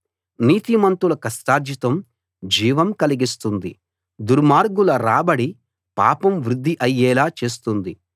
నీతిమంతుల కష్టార్జితం జీవం కలిగిస్తుంది దుర్మార్గుల రాబడి పాపం వృద్ది అయ్యేలా చేస్తుంది